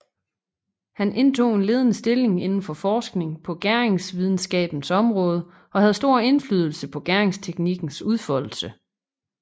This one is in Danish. Han indtog en ledende stilling indenfor forskningen på gæringsvidenskabens område og havde stor inflydelse på gæringsteknikkens udfoldelse